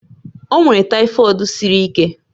O nwere tyfod siri ike